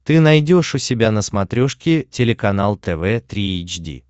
ты найдешь у себя на смотрешке телеканал тв три эйч ди